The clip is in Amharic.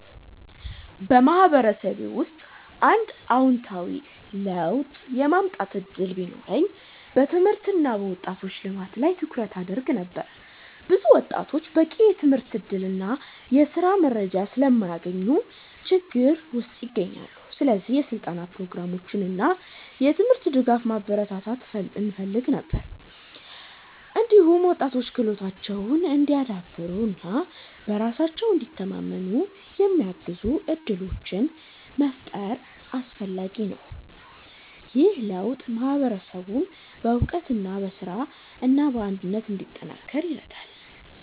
በማህበረሰቤ ውስጥ አንድ አዎንታዊ ለውጥ የማምጣት እድል ቢኖረኝ በትምህርት እና በወጣቶች ልማት ላይ ትኩረት አደርግ ነበር። ብዙ ወጣቶች በቂ የትምህርት እድል እና የስራ መረጃ ስለማያገኙ ችግር ውስጥ ይገኛሉ። ስለዚህ የስልጠና ፕሮግራሞችን እና የትምህርት ድጋፍ ማበረታታት እፈልግ ነበር። እንዲሁም ወጣቶች ክህሎታቸውን እንዲያዳብሩ እና በራሳቸው እንዲተማመኑ የሚያግዙ እድሎችን መፍጠር አስፈላጊ ነው። ይህ ለውጥ ማህበረሰቡን በእውቀት፣ በስራ እና በአንድነት እንዲጠናከር ይረዳል።